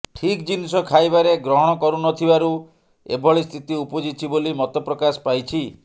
ଠିକ୍ ଜିନିଷ ଖାଇବାରେ ଗ୍ରହଣ କରୁନଥିବାରୁ ଏଭଳି ସ୍ଥିତି ଉପୁଜିଛି ବୋଲି ମତ ପ୍ରକାଶ ପାଇଛି